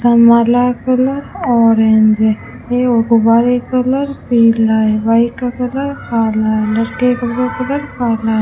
छामरला का colour orange है ये गुब्बारे का कलर पीला है बाइक का कलर काला है लड़के के कपड़ों का कलर काला है।